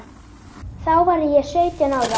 Þá var ég sautján ára.